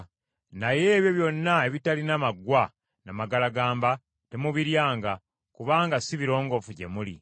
Naye ebyo byonna ebitalina maggwa na magalagamba temubiryanga, kubanga si birongoofu gye muli.